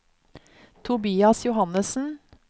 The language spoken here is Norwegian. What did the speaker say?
Tobias Johannessen